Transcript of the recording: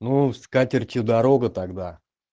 ну скатертью дорога тогда